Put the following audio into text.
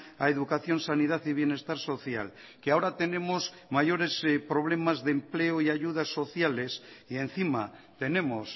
a educación sanidad y bienestar social que ahora tenemos mayores problemas de empleo y ayudas sociales y encima tenemos